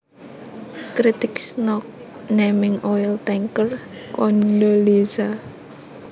Critics knock naming oil tanker Condoleezza